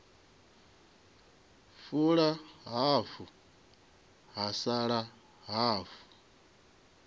fula hafu ha sala hafu